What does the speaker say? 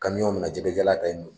mi na jɛgɛjalan ta ye